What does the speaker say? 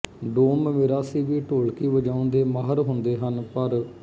doom ਮੀਰਾਸੀ ਵੀ ਢੋਲਕੀ ਵਜਾਉਣ ਦੇ ਮਾਹਿਰ ਹੁੰਦੇ ਹਨ ਪਰ